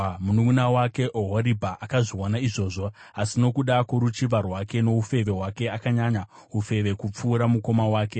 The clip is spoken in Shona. “Mununʼuna wake Ohoribha akazviona izvozvo, asi nokuda kworuchiva rwake noufeve hwake, akanyanya ufeve kupfuura mukoma wake.